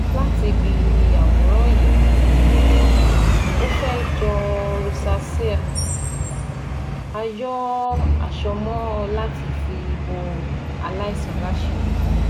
Láti ibi àwòrán yìí, ó fẹ́ jọ rosacea a yọ àsomọ́ láti fi bo aláìsàn láṣìírí